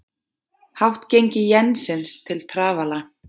Hátt gengi jensins til trafala